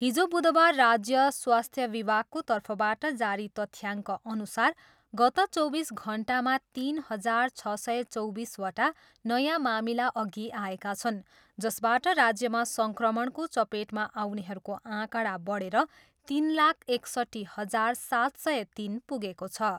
हिजो बुधबार राज्य स्वास्थ्य विभागको तर्फबाट जारी तथ्याङ्कअनुसार गत चौबिस घन्टामा तिन हजार छ सय चौबिसवटा नयाँ मामिला अघि आएका छन् जसबाट राज्यमा सङ्क्रमणको चपेटमा आउनेहरूको आँकडा बढेर तिन लाख एकसट्ठी हजार सात सय तिन पुगेको छ।